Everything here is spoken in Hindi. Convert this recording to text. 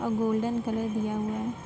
और गोल्‍डन कलर दिया हुआ है।